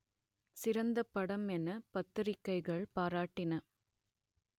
சிறந்த படம் என பத்திரிக்கைகள் பாராட்டின